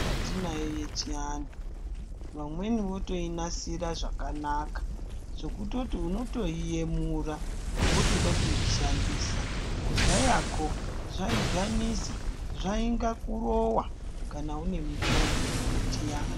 Mitombo yatinayo yechiantu vamweni votoinasira zvakanaka zvekutoti unotoiyemura wotode kuishandisa kudhayako zvaidhanisa zvainga kurorwa kana une mitombo yechianhu.